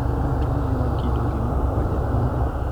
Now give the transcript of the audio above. nonro miyowa kido gi mag bajet maber